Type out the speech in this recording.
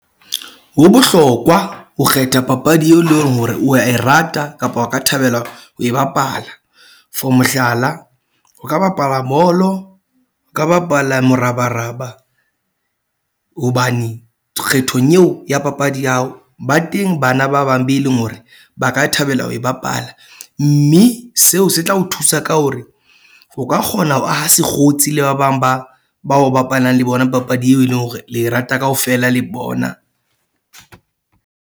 Ho bohlokwa ho kgetha papadi eo leng hore wa e rata kapa o ka thabela ho e bapala. For mohlala, o ka bapala bolo, o ka bapala morabaraba hobane kgethong eo ya papadi ya hao ba teng bana ba bang be leng hore ba ka thabela ho e bapala. Mme seo se tla o thusa ka hore o ka kgona ho aha sekgotsi le ba bang ba bao bapalang le bona papadi eo e leng hore le rata kaofela le bona.